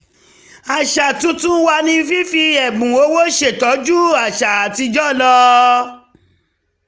àṣà tuntun wa ni fífi ẹ̀bùn ọwọ́ ṣe tó ju àṣà àtijọ́ lọ